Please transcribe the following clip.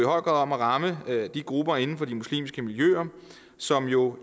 om at ramme de grupper inden for de muslimske miljøer som jo